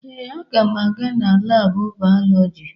Ee, aga m aga na laabụ bayolọjị.